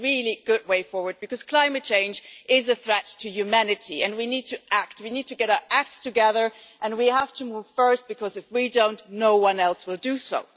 This is a really good way forward because climate change is a threat to humanity and we need to act. We need to get our act together and we have to move first because if we don't, no one else will do so.